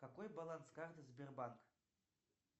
какой баланс карты сбербанк